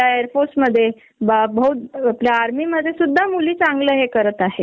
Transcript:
माझ्या आईला कॅन्सर झाला म्हणून रेडियशन देत होत न तर मी बॉस कडे सुट्ट्या मागीतल्या